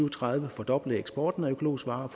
og tredive fordoble eksporten af økologiske varer